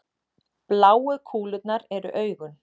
bláu kúlurnar eru augun